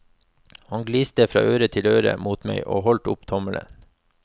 Han gliste fra øre til øre mot meg og holdt opp tomlen.